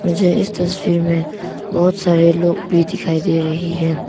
मुझे इस तस्वीर में बहोत सारे लोग भी दिखाई दे रही है।